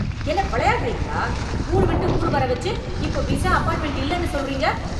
என்ன வெளையாடுறீங்களா? ஊரு விட்டு ஊரு வர வெச்சு இப்போ விசா அப்பாயின்ட்மென்ட் இல்லன்னு சொல்றீங்க!